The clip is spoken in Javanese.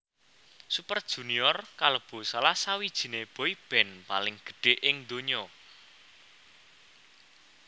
Super Junior kalebu salah sawijininé boyband paling gedhé ing ndonya